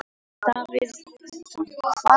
Davíð Oddsson: Að hvað?